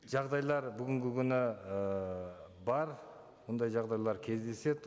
жағдайлар бүгінгі күні ыыы бар ондай жағдайлар кездеседі